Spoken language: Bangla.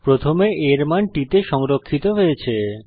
প্রথমে a এর মান t তে সংরক্ষিত হয়েছে